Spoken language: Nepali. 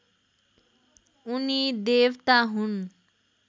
उनी देवता हुन्